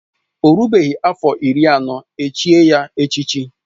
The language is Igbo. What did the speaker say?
Ọ rubeghị afọ iri anọ echié ya echichi